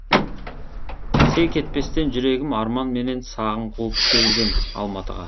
селк етпестен жүрегім арман менен сағым қуып келіп ем алматыға